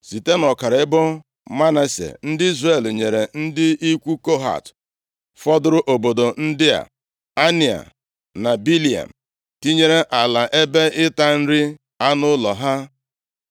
Site nʼọkara ebo Manase, ndị Izrel nyere ndị ikwu Kohat fọdụrụ obodo ndị a: Anea na Bileam, tinyere ala ebe ịta nri anụ ụlọ ha.